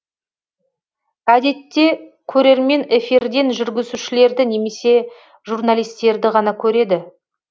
әдетте көрермен эфирден жүргізушілерді немесе журналистерді ғана көреді